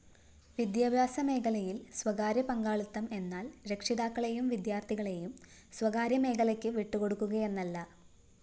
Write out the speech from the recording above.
വിദ്യാഭ്യാസ മേഖലയില്‍ സ്വകാര്യപങ്കാളിത്തം എന്നാല്‍ രക്ഷിതാക്കളെയും വിദ്യാര്‍ത്ഥികളെയും സ്വകാര്യമേഖലയ്ക്കു വിട്ടുകൊടുക്കുകയെന്നല്ല